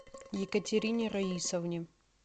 екатерине раисовне